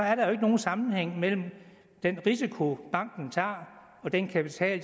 er der jo ikke nogen sammenhæng mellem den risiko banken tager og den kapital